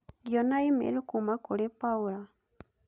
Ngĩona email kuuma kũrĩ Paula.